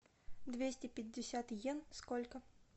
двести пятьдесят йен сколько